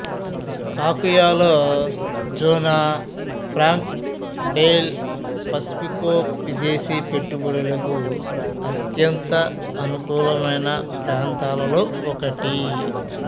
కకుయాలో Zona Franca del Pacifico విదేశీపెట్టుబడులకు అత్యంత అనుకూలమైన ప్రాంతాలలో ఒకటి